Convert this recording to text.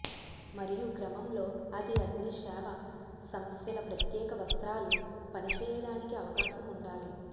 మరియు క్రమంలో అది అగ్ని సేవ సమస్యల ప్రత్యేక వస్త్రాలు పని చేయడానికి అవకాశం ఉండాలి